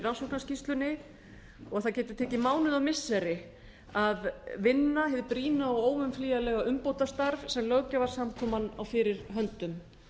rannsóknarskýrslunni og það geti tekið mánuði og missiri að vinna hið brýna og óumflýjanlega umbótastarf sem löggjafarsamkoman á fyrir höndum